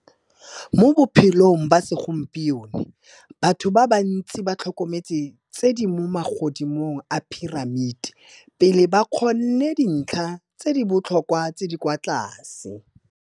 Mo bophelong ba segompieno, batho ba bantsi ba tlhokometse tse di mo magodimong a piramiti pele ba kgonne dintlha tse di botlhokwa tse di kwa tlase.